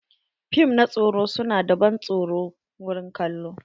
Fim na tsoro su na da ban tsoro wurin kallo.